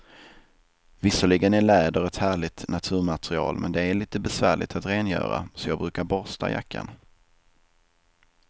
Visserligen är läder ett härligt naturmaterial, men det är lite besvärligt att rengöra, så jag brukar borsta jackan.